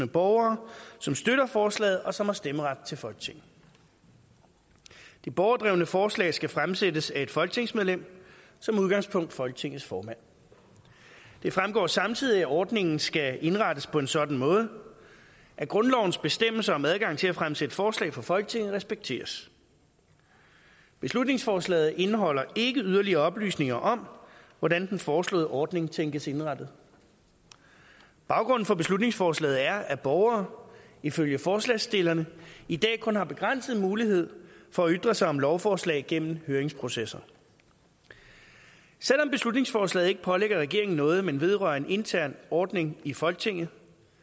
borgere som støtter forslaget og som har stemmeret til folketinget det borgerdrevne forslag skal fremsættes af et folketingsmedlem som udgangspunkt folketingets formand det fremgår samtidig at ordningen skal indrettes på en sådan måde at grundlovens bestemmelser om adgang til at fremsætte forslag for folketinget respekteres beslutningsforslaget indeholder ikke yderligere oplysninger om hvordan den foreslåede ordning tænkes indrettet baggrunden for beslutningsforslaget er at borgere ifølge forslagsstillerne i dag kun har begrænset mulighed for at ytre sig om lovforslag gennem høringsprocesser selv om beslutningsforslaget ikke pålægger regeringen noget men vedrører en intern ordning i folketinget